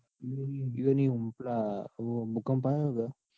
ઇઓની પેલા ભુંકં આયો ને?